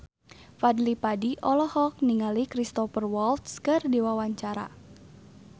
Fadly Padi olohok ningali Cristhoper Waltz keur diwawancara